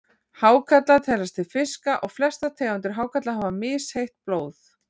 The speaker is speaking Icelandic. Hákarlar teljast til fiska og flestar tegundir hákarla hafa misheitt blóð.